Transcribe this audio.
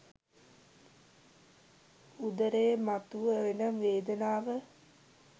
උදරයේ මතුව එන වේදනාව